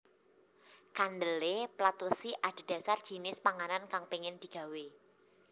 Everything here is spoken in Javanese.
Kandhele plat wesi adhedhasar jinis panganan kang pengin digawe